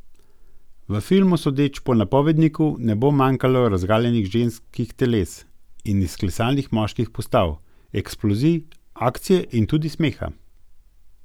V filmu, sodeč po napovedniku, ne bo manjkalo razgaljenih ženskih teles in izklesanih moških postav, eksplozij, akcije in tudi smeha.